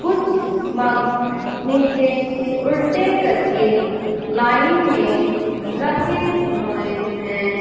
कुछ मग्स नीचे उल्टे करके लाइन में रखे हुए हैं।